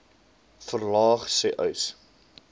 verlaag sê uys